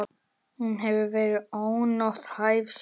Hún hefur verið ónothæf síðan.